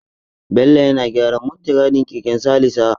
Bello yana gyaran muttigadin keken Salisa.